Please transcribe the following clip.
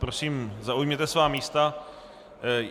Prosím, zaujměte svá místa.